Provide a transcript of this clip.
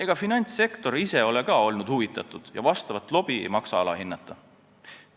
Ka finantssektor ise ei ole olnud huvitatud ja vastavat lobi ei maksa alahinnata.